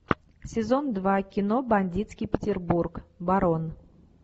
сезон два кино бандитский петербург барон